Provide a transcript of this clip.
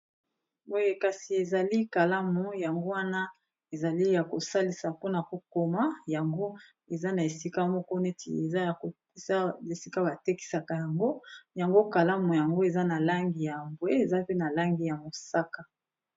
Boye kasi ezali kalamu yango wana ezali ya kosalisa mpona kokoma yango eza na esika moko neti eza ya ko batekisaka yango yango kalamu yango eza na langi ya mbwe eza pe na langi ya mosaka.